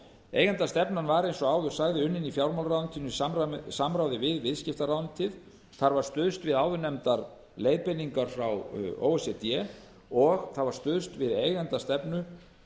eigendastefnan var eins og áður sagði unnin í fjármálaráðuneytinu í samráði við viðskiptaráðuneytið þar var stuðst við áðurnefndar leiðbeiningar frá o e c d og það var stuðst við eigendastefnu